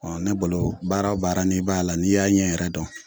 Ɔ ne bolo baara o baara n'i b'a la n'i y'a ɲɛ yɛrɛ dɔn